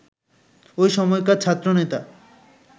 ওই সময়কার ছাত্রনেতা